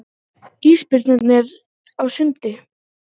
Ísbirnir á sundi.